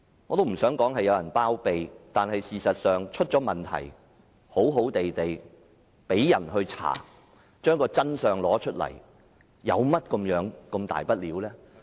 我不想指有人包庇，但出現問題後，展開調查找出真相又有何大不了？